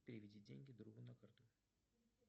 переведи деньги другу на карту